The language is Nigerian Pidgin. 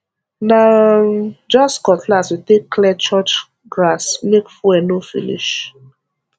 na um just cutlass we take clear church grassmake fuel no finish